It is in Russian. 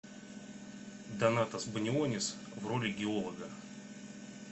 донатас банионис в роли геолога